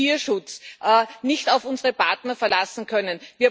dem Tierschutz nicht auf unsere Partner verlassen können.